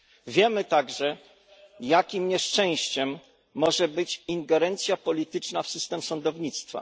Wiemy także, jakim nieszczęściem może być ingerencja polityczna w system sądownictwa.